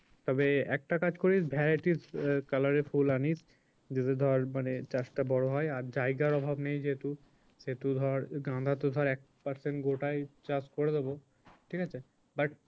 তবে একটা কাজ করিস varieties আহ color এর ফুল আনিস যদি ধর মানে চাষটা বড়ো হয় আর জায়গার অভাব নেই যেহেতু সেহেতু ধর গাঁদা তো ধর এক percent গোটাই চাষ করে দেবো ঠিক আছে but